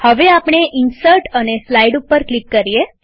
હવે આપણે ઇન્સર્ટ અને સ્લાઈડ ઉપર ક્લિક કરીએ